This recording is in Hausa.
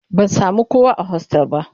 Ban sami kowa a hostel ba